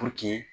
Puruke